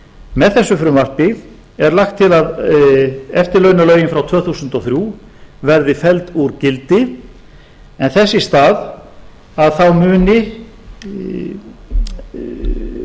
með þessu frumvarpi er lagt til að eftirlaunalögin frá tvö þúsund og þrjú verði felld úr gildi en þess í stað þá muni